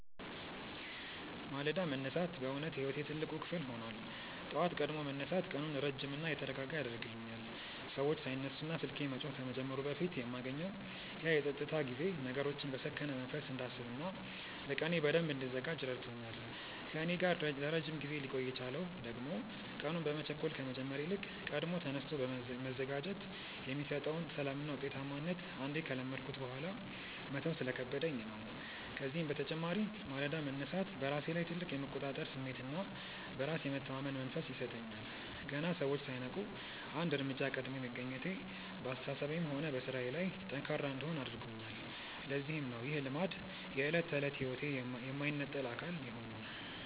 ማለዳ መነሳት በእውነት የሕይወቴ ትልቅ ክፍል ሆኗል። ጠዋት ቀድሞ መነሳት ቀኑን ረጅምና የተረጋጋ ያደርግልኛል፤ ሰዎች ሳይነሱና ስልኬ መጮህ ከመጀመሩ በፊት የማገኘው ያ የፀጥታ ጊዜ ነገሮችን በሰከነ መንፈስ እንዳስብና ለቀኔ በደንብ እንድዘጋጅ ረድቶኛል። ከእኔ ጋር ለረጅም ጊዜ ሊቆይ የቻለው ደግሞ ቀኑን በመቸኮል ከመጀመር ይልቅ ቀድሞ ተነስቶ መዘጋጀት የሚሰጠውን ሰላምና ውጤታማነት አንዴ ከለመድኩት በኋላ መተው ስለከበደኝ ነው። ከዚህም በተጨማሪ ማለዳ መነሳት በራሴ ላይ ትልቅ የመቆጣጠር ስሜትና በራስ የመተማመን መንፈስ ይሰጠኛል። ገና ሰዎች ሳይነቁ አንድ እርምጃ ቀድሜ መገኘቴ በአስተሳሰቤም ሆነ በሥራዬ ላይ ጠንካራ እንድሆን አድርጎኛል፤ ለዚህም ነው ይህ ልማድ የዕለት ተዕለት ሕይወቴ የማይነጠል አካል የሆነው።